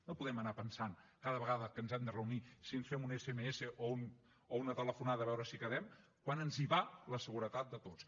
no podem anar pensant cada vegada que ens hem de reunir si ens fem un sms o una telefonada a veure si quedem quan ens hi va la seguretat de tots